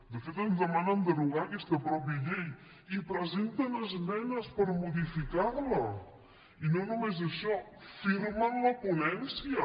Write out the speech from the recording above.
de fet ens demanen derogar aquesta llei i presenten esmenes per modificar la i no només això en firmem la ponència